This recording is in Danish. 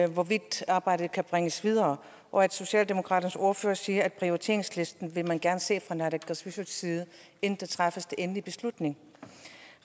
hvorvidt arbejdet kan bringes videre og at socialdemokratiets ordfører siger at prioriteringslisten vil man gerne se fra naalakkersuisuts side inden der træffes en endelig beslutning